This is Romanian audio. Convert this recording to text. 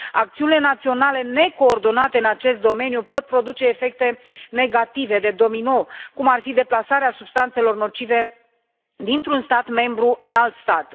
Acțiunile naționale necoordonate în acest domeniu pot produce efecte negative de domino, cum ar fi deplasarea substanțelor nocive dintr un stat membru în alt stat.